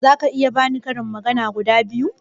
Zaka iya bani karin magana guda biyu?